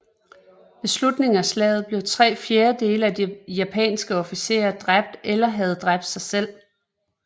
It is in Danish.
Ved slutningen af slaget blev tre fjerdedele af de japanske officerer dræbt eller havde dræbt sig selv